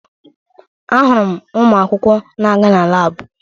Ahụrụ m ụmụakwụkwọ na-aga na laabụ